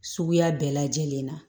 Suguya bɛɛ lajɛlen na